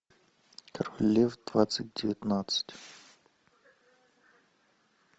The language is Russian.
король лев двадцать девятнадцать